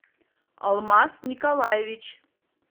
алмаз николаевич